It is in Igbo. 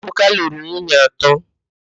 Ebuka lụrụ nwunye atọ.